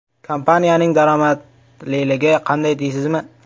Kompaniyaning daromadliligi qanday deysizmi?